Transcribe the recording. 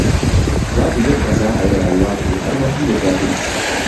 Babu yadda za a yi rayuwa ta yi armashi da jahilci.